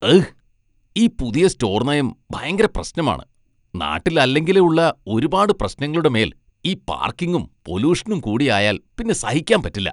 അഹ്! ഈ പുതിയ സ്റ്റോർ നയം ഭയങ്കര പ്രശ്നമാണ്. നാട്ടിൽ അല്ലെങ്കിലേ ഉള്ള ഒരുപാട് പ്രശ്നങ്ങളുടെ മേൽ ഈ പാർക്കിങ്ങും പൊലൂഷനും കൂടിയായാൽ പിന്നെ സഹിക്കാൻ പറ്റില്ല.